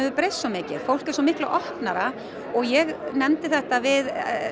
breyst svo mikið og fólk er opnara ég nefndi þetta við